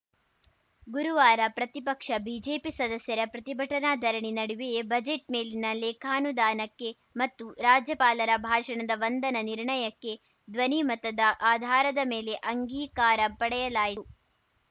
ಗುರುವಾರ ಪ್ರತಿಪಕ್ಷ ಬಿಜೆಪಿ ಸದಸ್ಯರ ಪ್ರತಿಭಟನಾ ಧರಣಿ ನಡುವೆಯೇ ಬಜೆಟ್‌ ಮೇಲಿನ ಲೇಖಾನುದಾನಕ್ಕೆ ಮತ್ತು ರಾಜ್ಯಪಾಲರ ಭಾಷಣದ ವಂದನಾ ನಿರ್ಣಯಕ್ಕೆ ಧ್ವನಿ ಮತದ ಆಧಾರದ ಮೇಲೆ ಅಂಗೀಕಾರ ಪಡೆಯಲಾಯಿ